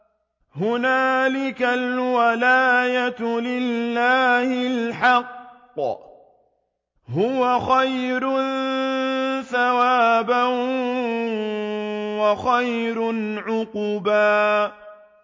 هُنَالِكَ الْوَلَايَةُ لِلَّهِ الْحَقِّ ۚ هُوَ خَيْرٌ ثَوَابًا وَخَيْرٌ عُقْبًا